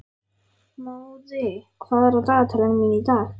Móði, hvað er á dagatalinu mínu í dag?